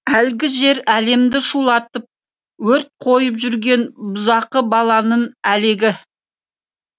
әлгі жер әлемді шулатып өрт қойып жүрген бұзақы баланың әлегі